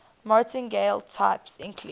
martingale types include